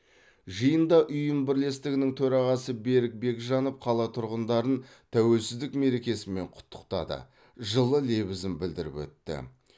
жиында ұйым бірлестігінің төрағасы берік бекжанов қала тұрғындарын тәуелсіздік мерекесімен құттықтады жылы лебізін білдіріп өтті